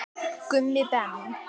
Gummi Ben.